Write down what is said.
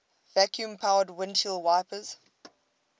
vacuum powered windshield wipers